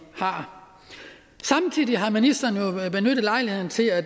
har samtidig har ministeren jo benyttet lejligheden til at